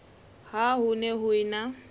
ha ho ne ho ena